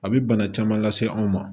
A bi bana caman lase an ma